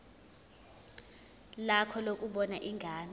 lakho lokubona ingane